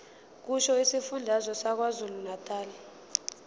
kusho isifundazwe sakwazulunatali